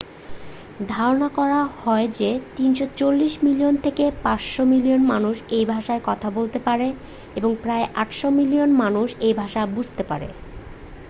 ধারণা করা হয় যে 340 মিলিয়ন থেকে 500 মিলিয়ন মানুষ এই ভাষায় কথা বলতে পারে এবং প্রায় 800 মিলিয়ন মানুষ এ ভাষা বুঝতে পারে